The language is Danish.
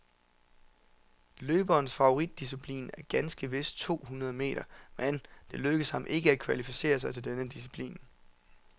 Løberens favoritdisciplin er ganske vist to hundrede meter, men det lykkedes ham ikke at kvalificere sig til denne disciplin.